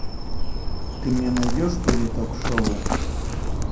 ты мне найдешь теле ток шоу